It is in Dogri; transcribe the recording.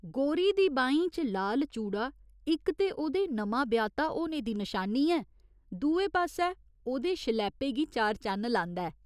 गोरी दी बाहीं च लाल चूड़ा इक ते ओह्दे नमां ब्याह्ता होने दी नशानी ऐ, दुए पास्सै ओह्दे शलैपे गी चार चन्न लांदा ऐ।